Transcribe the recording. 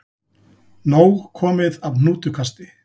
Nóg komið af hnútukasti